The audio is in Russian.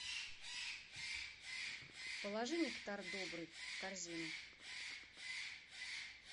положи нектар добрый в корзину